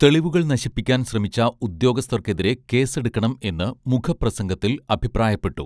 തെളിവുകൾ നശിപ്പിക്കാൻ ശ്രമിച്ച ഉദ്യോഗസ്ഥർക്കെതിരെ കേസെടുക്കണം എന്ന് മുഖപ്രസംഗത്തിൽ അഭിപ്രായപ്പെട്ടു